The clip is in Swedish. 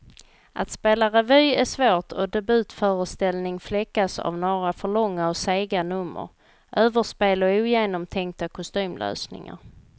Att spela revy är svårt och debutföreställning fläckas av några för långa och sega nummer, överspel och ogenomtänkta kostymlösningar.